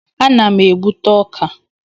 Ana m egbute ọka.